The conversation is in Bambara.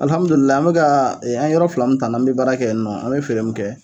an bɛ kaa an ye yɔrɔ fila min ta n'an bɛ baara kɛ yen nɔ an bɛ feere min kɛ